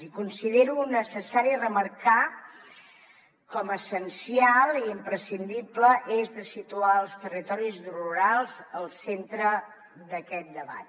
i considero necessari remarcar com a essencial i imprescindible situar els territoris rurals al centre d’aquest debat